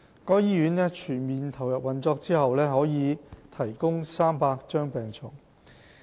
該醫院全面投入運作後預計可提供300張病床。